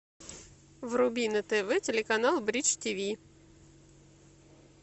вруби на тв телеканал бридж тв